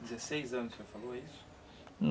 dezesseis anos, o senhor falou isso?